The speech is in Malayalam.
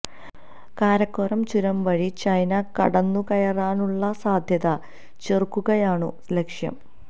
കാരക്കോറം ചുരം വഴി ചൈന കടന്നുകയറാനുള്ള സാധ്യത ചെറുക്കുകയാണു ലക്ഷ്യം